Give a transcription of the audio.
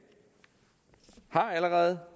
har allerede